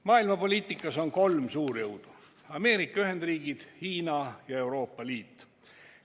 Maailmapoliitikas on kolm suurjõudu: Ameerika Ühendriigid, Hiina ja Euroopa Liit.